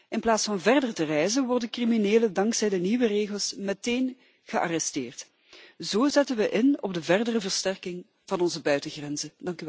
is. In plaats van verder te reizen, worden criminelen dankzij de nieuwe regels meteen gearresteerd. Zo zetten we in op de verdere versterking van onze buitengrenzen.